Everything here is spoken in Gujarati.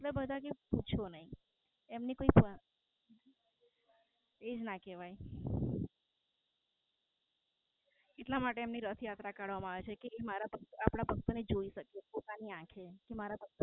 એટલે બધા કી પૂછશો નાઈ એ જ ના કેવાય. એટલા માટે રથયાત્રા કાઢવામાં આવે છે જે કે મારા ભક્તો આપણા ભક્તો ને જોઈ શકે પોતાની આંખે